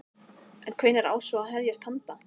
En hvenær á svo að hefjast handa?